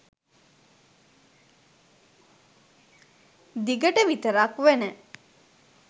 දිගට විතරක් වන